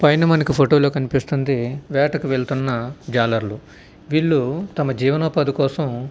పైన మనకు ఫోటో లో కనిపిస్తుంది వేట కి వెళ్ళుతున్న జాలర్లు వీల్లు తమ జీవనోపాధి కోసం --